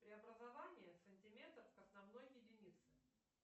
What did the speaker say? преобразование сантиметр к основной единице